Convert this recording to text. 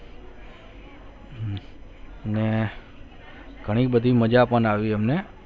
ઘણી બધી મજા પણ આવી અમને ને